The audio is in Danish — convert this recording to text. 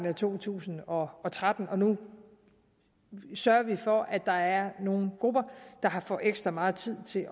af to tusind og og tretten og nu sørger vi for at der er nogle grupper der får ekstra meget tid til